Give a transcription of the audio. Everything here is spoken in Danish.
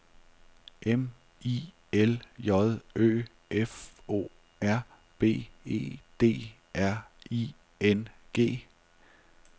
M I L J Ø F O R B E D R I N G